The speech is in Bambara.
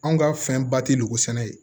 Anw ka fɛn ba tɛ lukosɛnɛ ye